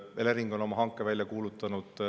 Elering on oma hanke välja kuulutanud.